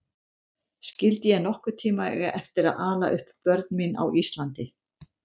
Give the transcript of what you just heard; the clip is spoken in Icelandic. Skyldi ég nokkurn tíma eiga eftir að ala upp börn mín á Íslandi?